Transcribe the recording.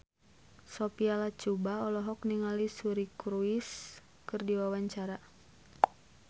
Sophia Latjuba olohok ningali Suri Cruise keur diwawancara